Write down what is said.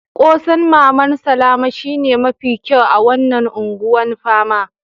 Kose'n maman Salama shine mafi kyau a wanan Ungwan Pama.